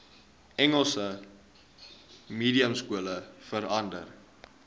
engels mediumskole verander